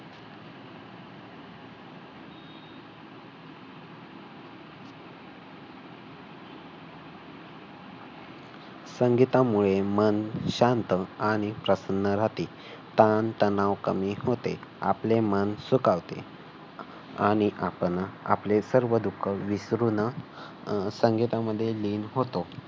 संगीतामुळे मन शांत आणि प्रसन्न राहते ताण तणाव कमी होते आपले मन सुखावते. आणि आपण आपली सर्व दुःख विसरुन अह संगीतामध्ये लीन होतो.